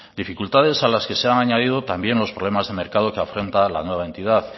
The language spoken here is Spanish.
dificultades a las que se han añadido también los problemas de mercado que afronta la nueva entidad